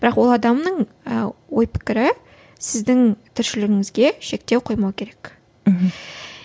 бірақ ол адамның ы ой пікірі сіздің тіршілігіңізге шектеу қоймау керек мхм